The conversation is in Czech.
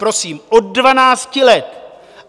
Prosím, od dvanácti let.